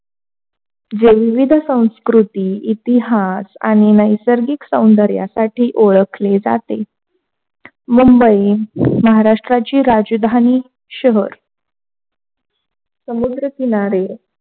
हे विविध संस्कृती इतिहास आणि नैसर्गिक सौंदर्यासाठी ओळखली जाते. मुंबई महाराष्ट्राची राजधानी शहर, समुद्र किनारे